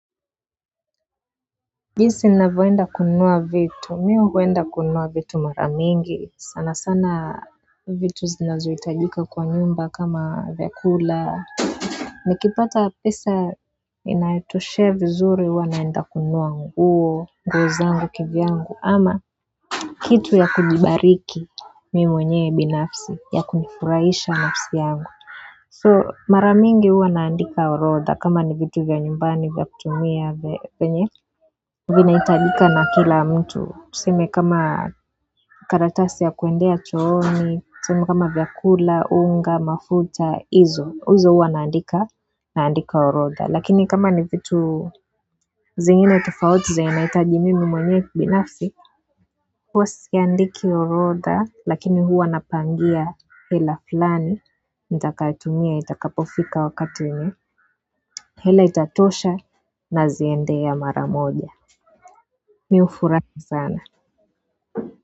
Jinsi ninavyo enda kunua vitu mi huenda kununua vitu mara mingi sana sana vitu zinazo hitajika kwa nyumba kama vyakula nikipata pesa inayotoshea vizuri huwa naenda kununua nguo nguo zangu kivyangu ama kitu ya kujibariki mimi mwenye binafsi ya kunifurahisha nafsi yangu. So mara mingi huwa naandika orodha kama ni vitu vya nyumbani vya kutumia vyenye vina hitajika na kila mtu, tuseme kama karatasi ya kuendea chooni, tuseme kama vyakula, unga, mafuta, hizo, hizo huwa naandika, naandika orodha. Lakini kama ni vitu zingine tofauti zenye nahitaji mimi mwenyewe binafsi huwa siandiki orodha, lakini huwa napangia hela fulani, nitakayo tumia, itakapofika wakati wenye hela itatosha naziendea mara moja. Mi hufurahi sana.